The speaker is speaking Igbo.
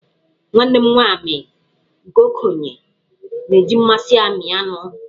Nwanne m nwaanyị nke okenye na-eji mmasị ami anụ